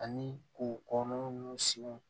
Ani k'o kɔnɔna ninnu siw